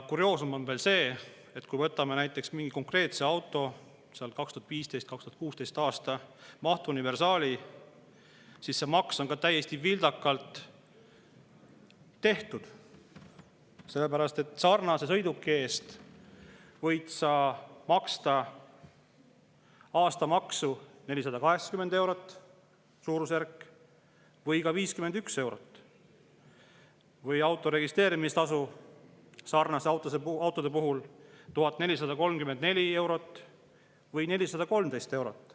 Kurioosum on veel see, et kui võtame näiteks mingi konkreetse auto, näiteks 2015. või 2016. aasta mahtuniversaali, siis see maks on täiesti vildakalt tehtud, sellepärast et sarnase sõiduki eest võid sa maksta aastamaksu suurusjärgus 480 eurot või ka 51 eurot ja auto registreerimistasu sarnaste autode puhul 1434 eurot või 413 eurot.